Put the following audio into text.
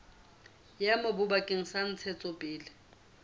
ya mobu bakeng sa ntshetsopele